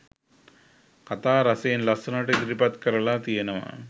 කථා රසයෙන් ලස්සනට ඉදිරිපත් කරලා තියෙනවා